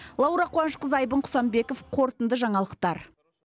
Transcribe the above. лаура қуанышқызы айбын құсанбеков қорытынды жаңалықтар